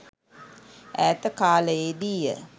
ඈත කාලයේ දීය.